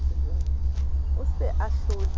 a se a hlotse e